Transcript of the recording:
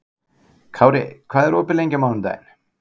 Kári, hvað er opið lengi á mánudaginn?